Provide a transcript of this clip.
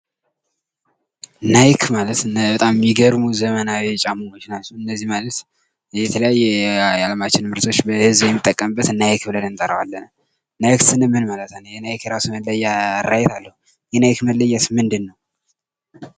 ናይክ ማለት በጣም የሚገርሙ ዘመናዊ ጫማዎች ናቸው:: እነዚህ ማለት የተለያዩ የዓለማችን ምርቶች በሕዝብ የሚጠቀምበት ናይክ ብለን እንጠራዋለን:: ናይክ ስንል ምን ማለታችን ነው? ናይክ የራሱ መለያ ራይት አለው የናይክ መለያ ምንድን ነው?